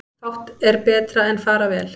Fátt er betra en fara vel.